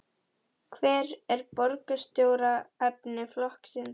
Hver er borgarstjóraefni flokksins?